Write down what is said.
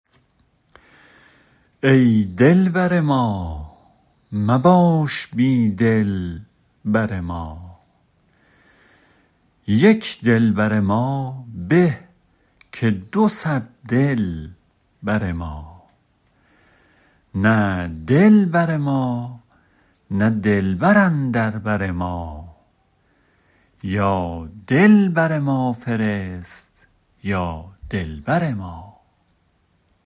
ای دل بر ما مباش بی دلبر ما یک دلبر ما به که دو صد دل بر ما نه دل بر ما نه دلبر اندر بر ما یا دل بر ما فرست یا دلبر ما